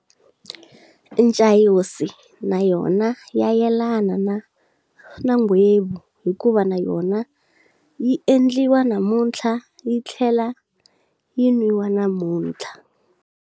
Ncayoni na yona ya yelana na nghwevu hikuva na yona yi endliwa namuntlha yi tlhela yi nwiwa namuntlha.